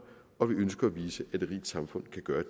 og vi ønsker at vise at et rigt samfund kan gøre